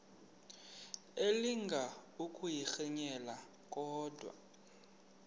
elinga ukuyirintyela kodwa